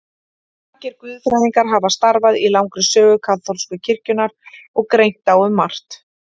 Margir guðfræðingar hafa starfað í langri sögu kaþólsku kirkjunnar og greint á um margt.